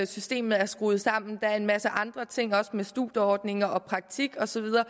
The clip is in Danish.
systemet er skruet sammen der er en masse andre ting også med studieordninger og praktik og så videre